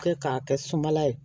Kɛ k'a kɛ sumala ye